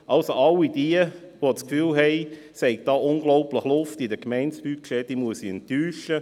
All jene, die denken, es habe in den Budgets der Gemeinden unglaublich Luft, muss ich enttäuschen.